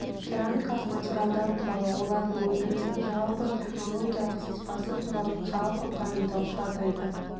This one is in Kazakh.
керамикалық материалдар туралы одардың өндірісінің жалпы технологиялық сызбасы туралы жалпы пайымдауды атайды